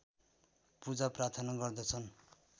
पूजा प्रार्थना गर्दछन्